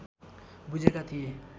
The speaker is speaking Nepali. बुझेका थिए